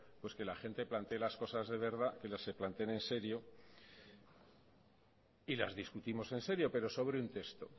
pues que la gente plantee las cosas de verdad y las que se planteen en serio y las discutimos en serio pero sobre un texto